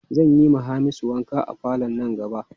Zan yiwa Hamisu wanka a falo nan gaba.